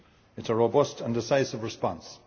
It is a robust and decisive response.